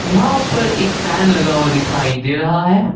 यहां पर एक फैन लगा हुआ दिखाई दे रहा है।